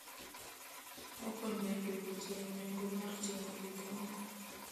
Okonyo e dwoko chien nengo mag ting'o gik moko.